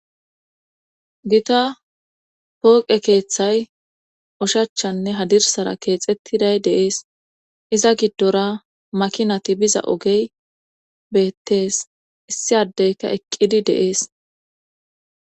gita pooqe keeththay oshachanne hadirsara keexettiday de7ees iza giddora makinati biza ogey beettees issi addeyka eqqidi de7ees.